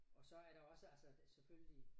Og så er der også altså selvfølgelig